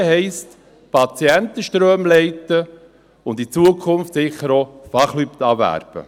Verdrängen heisst, Patientenströme leiten und in Zukunft sicher auch, Fachleute abwerben.